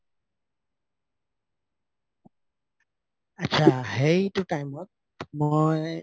আতচা সেইটো time ত মই